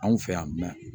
Anw fɛ yan mɛn